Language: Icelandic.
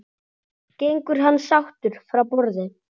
Gengur hann sáttur frá borði?